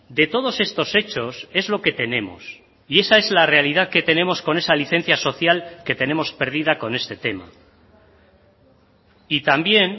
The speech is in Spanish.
de todos estos hechos es lo que tenemos y esa es la realidad que tenemos con esa licencia social que tenemos perdida con este tema y también